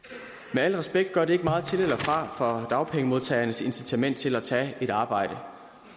med al respekt gør det ikke meget til eller fra for dagpengemodtagernes incitament til at tage et arbejde